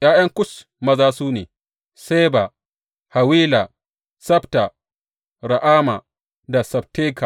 ’Ya’yan Kush maza su ne, Seba, Hawila, Sabta, Ra’ama da Sabteka.